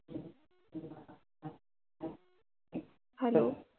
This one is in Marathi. hello